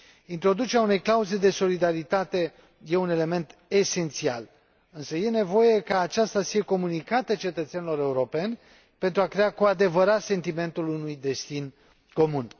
Introducerea unei clauze de solidaritate e un element esențial, însă e nevoie ca aceasta să fie comunicată cetățenilor europeni, pentru a crea cu adevărat sentimentul unui destin comun.